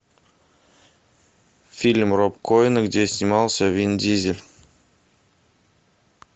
фильм роб коэна где снимался вин дизель